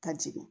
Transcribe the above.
Ka jigin